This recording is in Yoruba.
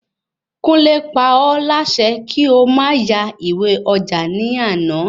Kunle pa ọ́ lásẹ kí o ma ya ìwé ọjà ní àná